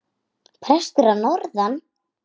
Prestur að norðan!